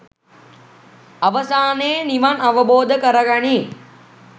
අවසානයේ නිවන් අවබෝධ කර ගනී